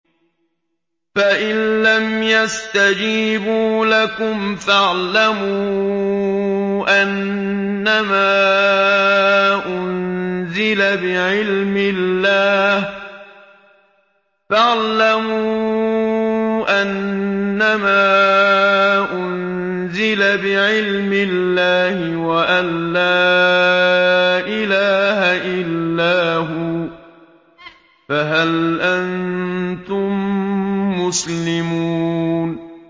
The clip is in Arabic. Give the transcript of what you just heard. فَإِلَّمْ يَسْتَجِيبُوا لَكُمْ فَاعْلَمُوا أَنَّمَا أُنزِلَ بِعِلْمِ اللَّهِ وَأَن لَّا إِلَٰهَ إِلَّا هُوَ ۖ فَهَلْ أَنتُم مُّسْلِمُونَ